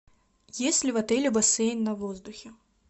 есть ли в отеле бассейн на воздухе